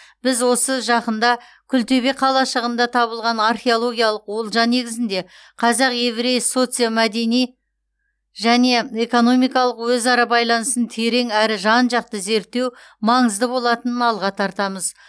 біз осы жақында күлтөбе қалашығында табылған археологиялық олжа негізінде қазақ еврей социомәдени және экономикалық өзара байланысын терең әрі жан жақты зерттеу маңызды болатынын алға тартамыз